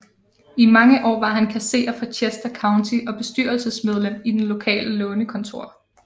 I mange år var han kasserer for Chester County og bestyrelsesmedlem i det lokale lånekontor